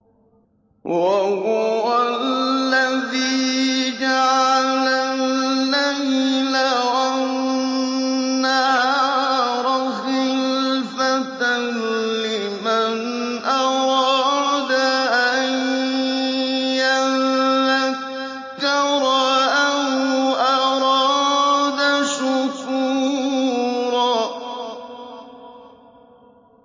وَهُوَ الَّذِي جَعَلَ اللَّيْلَ وَالنَّهَارَ خِلْفَةً لِّمَنْ أَرَادَ أَن يَذَّكَّرَ أَوْ أَرَادَ شُكُورًا